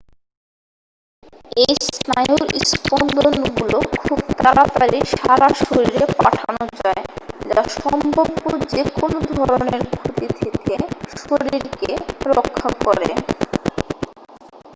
এই স্নায়ুর স্পন্দনগুলো খুব তাড়াতাড়ি সারা শরীরে পাঠানো যায় যা সম্ভাব্য যে কোন ধরণের ক্ষতি থেকে শরীরকে রক্ষা করে